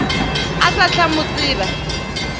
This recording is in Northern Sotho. o sa tla mo tseba